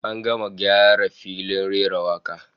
An gama gyara filin rera wakar